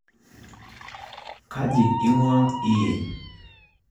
Kaji ing'uaa iyie?